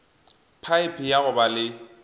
phaephe ya go ba le